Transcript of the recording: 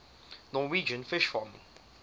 norwegian fish farming